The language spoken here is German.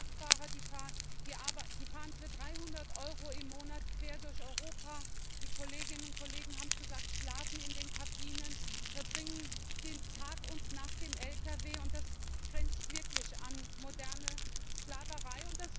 Da gibt es Kraftfahrer, die fahren für 300 EUR im Monat quer durch Europa und die Kolleginnen und Kollegen haben es gesagt schlafen in den Kabinen, verbringen den Tag und die Nacht im Lkw, und das grenzt wirklich an moderne Sklaverei.